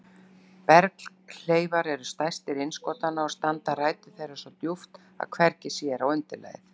Berghleifar eru stærstir innskotanna og standa rætur þeirra svo djúpt að hvergi sér á undirlagið.